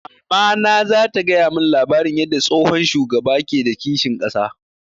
Mamana za ta gaya mun labarin yarda tsohon shugaba ke da kishin ƙasa